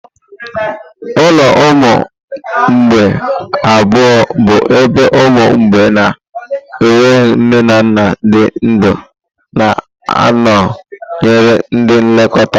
Ụlọ ụmụ mgbei abụọ bụ ebe ụmụ mgbei na-enweghị nne na nna dị ndụ na-anọnyere ndị nlekọta.